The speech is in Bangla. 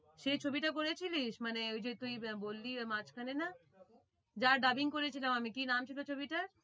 সেই ছবিটা করে ছিলিস মানে ওই যে তুই বললি ওই মাঝ খানে না যা dubbing করেছিলাম আমি কি নাম ছিল ছবিটা?